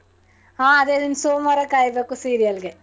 ಅದೇ ಇನ್ ಸೋಂವಾರ ಕಾಯ್ಬೇಕು serial ಗೆ.